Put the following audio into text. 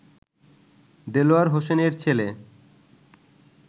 দেলোয়ার হোসেনের ছেলে